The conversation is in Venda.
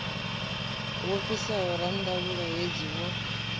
wo fhisaho ranḓavhula hedzi wo